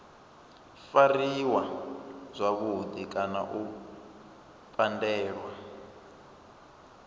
fariwa zwavhudi kana u pandelwa